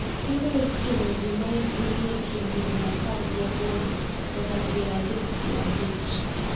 Kendo oting’o ji ma hikgi ni e kind higni apar gi aboro nyaka piero adek gi abich,